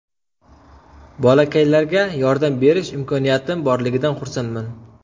Bolakaylarga yordam berish imkoniyatim borligidan xursandman.